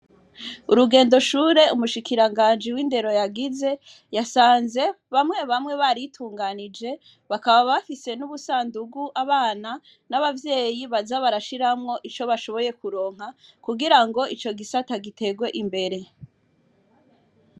Urugendo shuri umushikiranganji w'indero yagize yasanze bamwe bamwe baritunganije bakaba bafise n'ubusandugu abana n'abavyeyi baza barashiramwo ico bashoboye kuronka kugira ico gisata giterwe imbere.